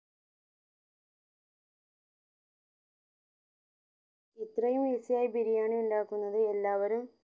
ഇത്രയും easy ആയി ബിരിയാണി ഉണ്ടാക്കുന്നത് എല്ലാവരും